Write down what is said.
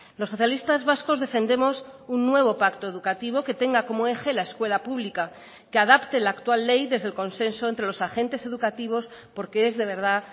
los socialistas vascos defendemos un nuevo pacto educativo que tenga como eje la escuela pública que adapte la actual ley desde el consenso entre los agentes educativos porque es de verdad